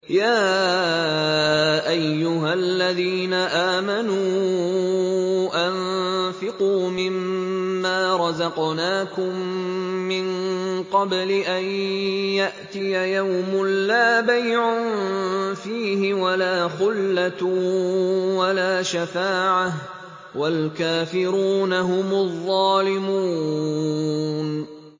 يَا أَيُّهَا الَّذِينَ آمَنُوا أَنفِقُوا مِمَّا رَزَقْنَاكُم مِّن قَبْلِ أَن يَأْتِيَ يَوْمٌ لَّا بَيْعٌ فِيهِ وَلَا خُلَّةٌ وَلَا شَفَاعَةٌ ۗ وَالْكَافِرُونَ هُمُ الظَّالِمُونَ